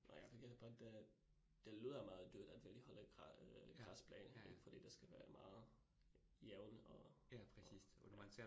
Nåh ja, vi kan da godt øh. Det lyder meget dyrt, at virkelig holde græsbane ik fordi det skal være meget jævn og og ja